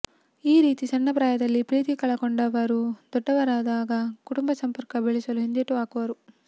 ಈ ರೀತಿ ಸಣ್ಣ ಪ್ರಾಯದಲ್ಲಿ ಪ್ರೀತಿ ಕಳ ಕೊಂಡವರು ದೊಡ್ಡವರಾದಾಗ ಕುಟುಂಬ ಸಂಪರ್ಕ ಬೆಳೆಸಲು ಹಿಂದೇಟು ಹಾಕುವರು